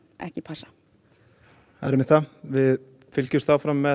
ekki passa við fylgjumst áfram með